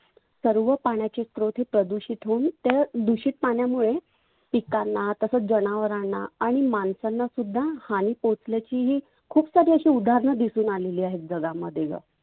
सर्व पाण्याची स्रोत हे प्रदुषीत होऊन त्या दुषीत पाण्यामुळे पिकांना तसंच जनावरांना आणि माणसांना सुद्धा हानी पोचण्याची ही. खुप सारी अशी उदाहरण दिसुन आलेली आहेत. जगामध्ये ग.